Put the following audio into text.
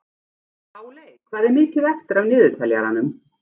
Páley, hvað er mikið eftir af niðurteljaranum?